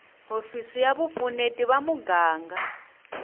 hofisi ya vupfuneti va muganga